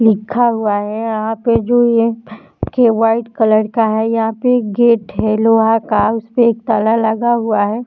लिखा हुआ है यहां पे जो ये व्हाइट कलर का है यहां पे एक गेट है लोहा है उसपे एक ताला लगा हुआ हैं।